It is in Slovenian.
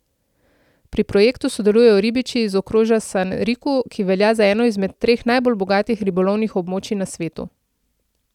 Pri projektu sodelujejo ribiči iz okrožja Sanriku, ki velja za eno izmed treh najbolj bogatih ribolovnih območij na svetu.